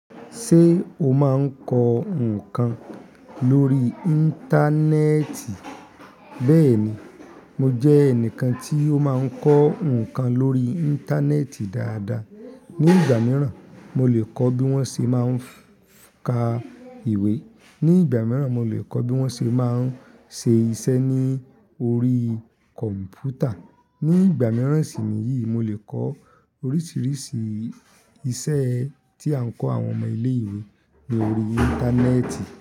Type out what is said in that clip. Ṣé o máa n kọ ǹkan lórí Íńtánẹ́ẹ̀tì? Bẹ́ẹ̀ni, mo jẹ́ ẹnìkan tí ó máa ń kọ́ ǹkan lórí Íńtánẹ́ẹ̀tì dáadáa. Ni ìgbà mìíràn, mo lè kọ́ bí wọ́n ṣe máa ń ka ìwé. Ni ìgbà mìíràn, mo lè kọ́ bí wọ́n ṣe máa ń ṣe iṣẹ́ ní orí kọ̀m̀pútà. Ni ìgbà mìíràn sì ni yìí, mo lè kọ oríṣiríṣi iṣẹ́ tí a ń kọ àwọn ọmọ ilé ìwé lórí Íńtánẹ́ẹ̀tì.